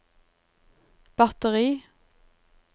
batteri